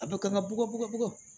A bɛ kan ka bɔgɔ bugɔ bugɔgɔ